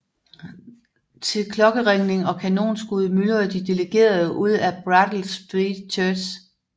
Til klokkeringning og kanonskud myldrede de delegerede ud af Brattle Street Church